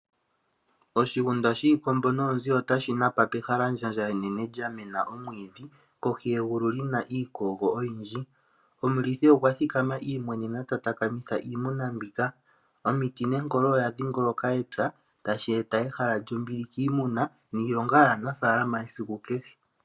Oshigunda shiikombo noonzi ota shi napa pehalandjandja enene lya mena omwiidhi kohi yegulu li na iikogo oyindji. Omulithi okwathikama imwenenena ta takamitha iimuna mbika. Omiti nenkolo oya dhingonoka epya tashi eta ehala lyombili kiimuna niilonga yaafalama yesiku kehe.